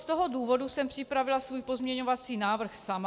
Z toho důvodu jsem připravila svůj pozměňovací návrh sama.